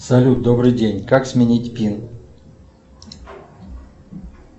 салют добрый день как сменить пин